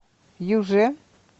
юже